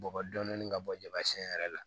Bɔgɔ dɔɔnin ka bɔ jama siɲɛ yɛrɛ la